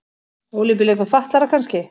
Ólympíuleikum fatlaðra kannski.